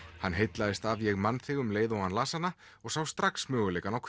hann heillaðist af ég man þig um leið og hann las hana og sá strax möguleikann á